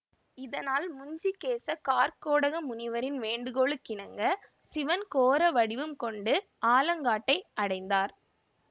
இதனால் முஞ்சிகேச கார்க்கோடக முனிவரின் வேண்டுகோளுக்கிணங்க சிவன் கோர வடிவம் கொண்டு ஆலங்காட்டை அடைந்தார்